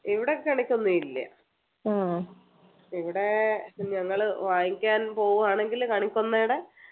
ഇവിടെ കണിക്കൊന്ന ഇല്ല ഇവിടെ ഞങ്ങള് വാങ്ങിക്കാൻ പോവ്വാണെങ്കിൽ കണിക്കൊന്നയുടെ